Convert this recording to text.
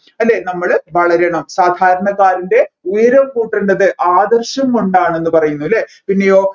അല്ലെ നമ്മൾ വളരണം സാധാരണകാരൻെറ ഉയരം കൂട്ടേണ്ടത് ആദർശം കൊണ്ടാണെന്ന് പറയുന്നു അല്ലെ പിന്നെയോ